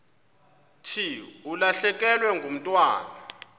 thi ulahlekelwe ngumntwana